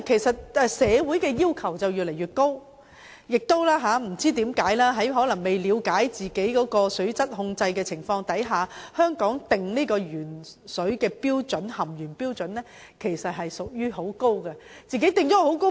社會的要求越來越高，但不知為何，當年在可能未了解本身的水質控制情況之下，當局就香港的食水含鉛標準訂定了很高的要求。